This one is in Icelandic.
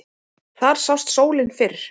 Þar sást sólin fyrr.